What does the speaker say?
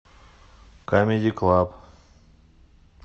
камеди клаб